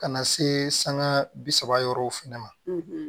Ka na se sanŋa bi saba yɔrɔw fɛnɛ ma